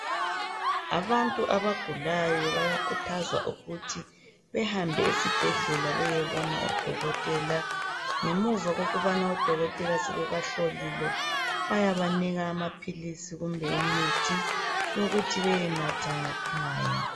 abantu abagulayo bayakhuthazwa ukuthi behambe esibhedlela beyebona odokotela ngemuva kokubana odokotela sebebahlolile bayabanika amaphilisi kumbe imithi yokuthi bayenatha ngekhaya